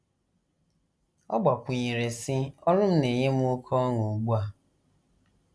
Ọ gbakwụnyere, sị: “ Ọrụ m na - enye m oké ọṅụ ugbu a.